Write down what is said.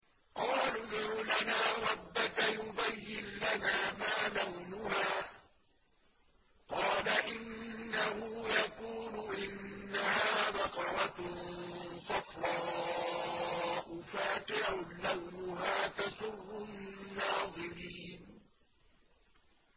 قَالُوا ادْعُ لَنَا رَبَّكَ يُبَيِّن لَّنَا مَا لَوْنُهَا ۚ قَالَ إِنَّهُ يَقُولُ إِنَّهَا بَقَرَةٌ صَفْرَاءُ فَاقِعٌ لَّوْنُهَا تَسُرُّ النَّاظِرِينَ